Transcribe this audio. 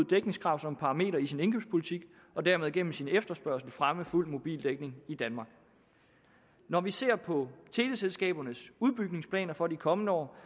dækningskrav som parameter i sin indkøbspolitik og dermed gennem sin efterspørgsel fremme fuld mobildækning i danmark når vi ser på teleselskabernes udbygningsplaner for de kommende år